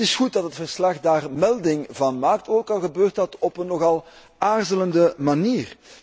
Het is goed dat het verslag daar melding van maakt, ook al gebeurt dat op een nogal aarzelende manier.